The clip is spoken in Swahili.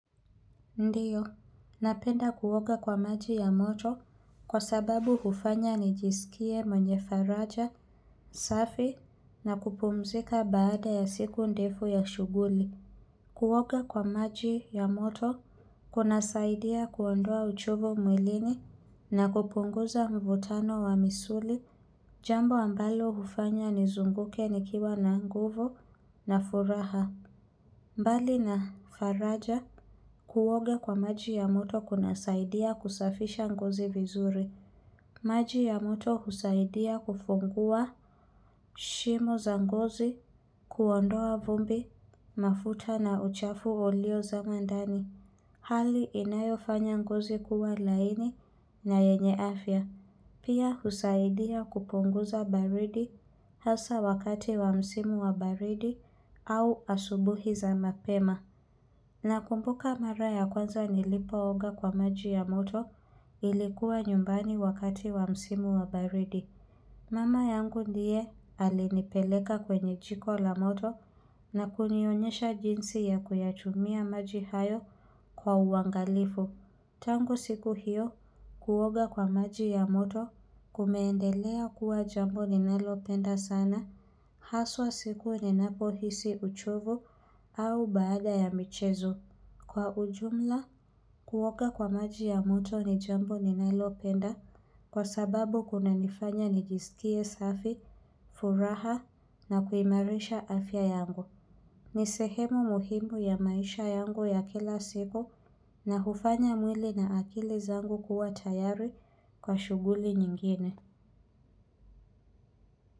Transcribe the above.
Ndio, napenda kuoga kwa maji ya moto kwa sababu hufanya nijisikie mwenye faraja, safi na kupumzika baada ya siku ndefu ya shughuli. Kuoga kwa maji ya moto kunasaidia kuondoa uchovu mwilini na kupunguza mvutano wa misuli, jambo ambalo hufanya nizunguke nikiwa na nguvu na furaha. Mbali na faraja kuoga kwa maji ya moto kunasaidia kusafisha ngozi vizuri. Maji ya moto husaidia kufungua shimo za ngozi, kuondoa vumbi, mafuta na uchafu ulio zama ndani. Hali inayofanya ngozi kuwa laini na yenye afya. Pia husaidia kupunguza baridi hasa wakati wa msimu wa baridi au asubuhi za mapema. Nakumbuka mara ya kwanza nilipooga kwa maji ya moto nilikuwa nyumbani wakati wa msimu wa baridi. Mama yangu ndiye alinipeleka kwenye jiko la moto na kunionyesha jinsi ya kuyachumia maji hayo kwa uangalifu. Tangu siku hio, kuoga kwa maji ya moto kumeendelea kuwa jambo ninalopenda sana. Haswa siku ninapo hisi uchovu au baada ya michezo. Kwa ujumla, kuoga kwa maji ya moto ni jambo ninalopenda kwa sababu kunanifanya nijisikie safi, furaha na kuimarisha afya yangu. Ni sehemu muhimu ya maisha yangu ya kila siku na hufanya mwili na akili zangu kuwa tayari kwa shughuli nyingine.